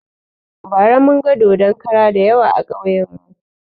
Bara munga dodon kara dayawa a kauyen mu